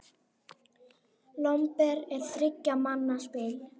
Lomber er þriggja manna spil.